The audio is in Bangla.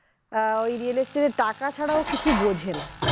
ওই real estate এর টাকা ছাড়া ও কিছু বোঝেনা